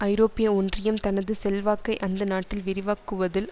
ஐரோப்பிய ஒன்றியம் தனது செல்வாக்கை அந்த நாட்டில் விரிவாக்குவதில்